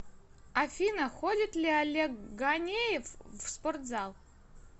афина ходит ли олег ганеев в спортзал